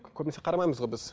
көбінесе қарамаймыз ғой біз